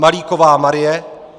Malíková Marie